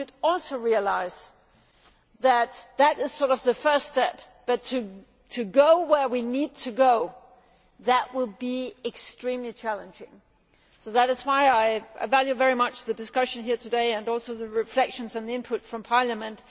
We should also realise that that is the first step, but to go where we need to go will be extremely challenging. So that is why I greatly value both the discussion here today and the reflections and input from Parliament.